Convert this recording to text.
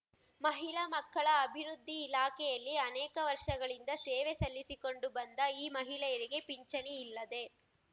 ಮಹಿಳಾ ಮಕ್ಕಳ ಅಭಿವೃದ್ಧಿ ಇಲಾಖೆಯಲ್ಲಿ ಅನೇಕ ವರ್ಷಗಳಿಂದ ಸೇವೆ ಸಲ್ಲಿಸಿಕೊಂಡು ಬಂದ ಈ ಮಹಿಳೆಯರಿಗೆ ಪಿಂಚಣಿ ಇಲ್ಲದೇ